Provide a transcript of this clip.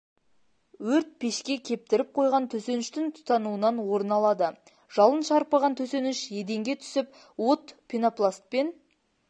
өрт пешке кептіріп қойған төсеніштің тұтануынан орын алады жалын шарпыған төсеніш еденге түсіп от пенопластпен